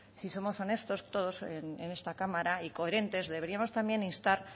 si somos honestos todos en esta cámara y coherentes deberíamos también instar